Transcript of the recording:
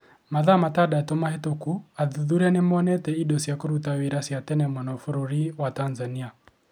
Mathaa matandatũ mahĩtũku athuthuria nĩ monete indo cia kũruta wĩra cia tene mũno bũrũri wa Tanzania.